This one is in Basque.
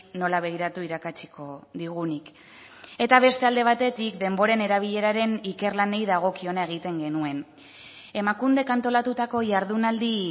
nola begiratu irakatsiko digunik eta beste alde batetik denboren erabileraren ikerlanei dagokiona egiten genuen emakundek antolatutako jardunaldi